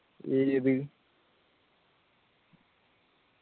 ഏത്